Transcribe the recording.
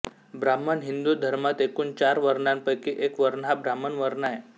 ब्राह्मण हिंदु धर्मात एकूण चार वर्णापैकी एक वर्ण हा ब्राह्मण वर्ण आहे